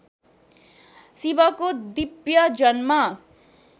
शिवको दिव्य जन्म